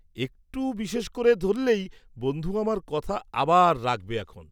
একটু বিশেষ করে ধরলেই বন্ধু আমার কথা আবার রাখবে এখন।